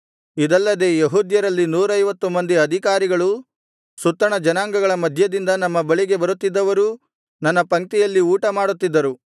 ಇದಲ್ಲದೆ ಯೆಹೂದ್ಯರಲ್ಲಿ ನೂರೈವತ್ತು ಮಂದಿ ಅಧಿಕಾರಿಗಳೂ ಸುತ್ತಣ ಜನಾಂಗಗಳ ಮಧ್ಯದಿಂದ ನಮ್ಮ ಬಳಿಗೆ ಬರುತ್ತಿದ್ದವರೂ ನನ್ನ ಪಂಕ್ತಿಯಲ್ಲಿ ಊಟಮಾಡುತ್ತಿದ್ದರು